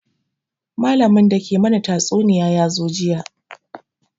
Malamin da ke mana tatsuniya ya zo jiya